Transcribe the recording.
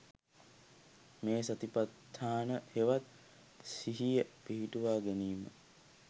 මේ සතිපට්ඨානය හෙවත් සිහිය පිහිටුවා ගැනීම